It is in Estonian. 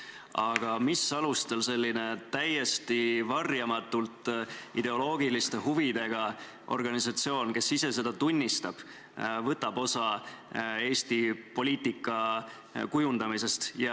Aga mis alustel selline täiesti varjamatult ideoloogiliste huvidega organisatsioon, kes ise seda tunnistab, võtab osa Eesti poliitika kujundamisest?